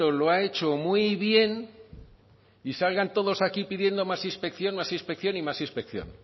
lo ha hecho muy bien y salgan todos aquí pidiendo más inspección más inspección y más inspección